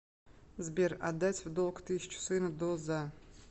сбер отдать в долг тысячу сыну до за